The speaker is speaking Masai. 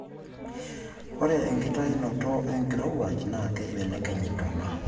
ore enkitainoto enkirowuaj naa keibelekeny intona